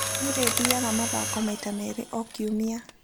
Nĩ ndĩthiaga mathako maita merĩ o kiumia.